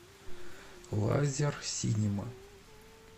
лазерсинема